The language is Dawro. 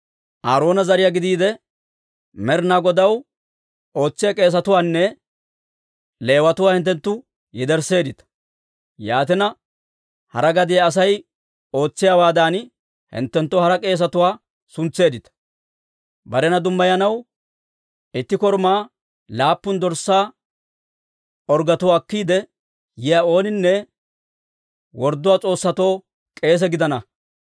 Aaroona zariyaa gidiide, Med'inaa Godaw ootsiyaa k'eesetuwaanne Leewatuwaa hinttenttu yedersseeddita. Yaatina hara gadiyaa Asay ootsiyaawaadan hinttenttoo hara k'eesetuwaa suntseeddita. Barena dummayanaw itti korumaa laappun dorssaa orggetuwaa akkiide yiyaa ooninne wordduwaa s'oossatoo k'eese gidana.